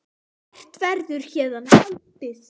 Hvert verður héðan haldið?